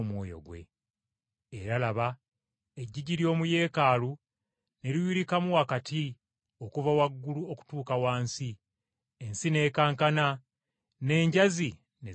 Era laba! Eggigi ly’omu Yeekaalu ne liyulikamu wakati okuva waggulu okutuuka wansi; ensi n’ekankana, n’enjazi ne zaatika.